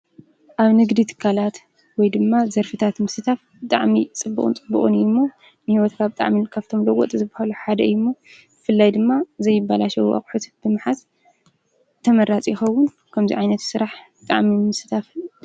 ኣብ ንግድ ትካላት ወይ ድማ ዘርፍታት ምስታፍ ጣዕሚ ጽብኦን ጽብኦን እዩ እሞ ንሕይወት ካኣብ ጥዓሚልካፍቶምለዎጥ ዝበሃሉ ሓደ እዩእሞ ፍላይ ድማ ዘይበላሸው ኣቕሑት ብምሓዝ ተመራጺኸውን ከምዚይ ኣይነት ሥራሕ ጠኣሚ ምስታፍል።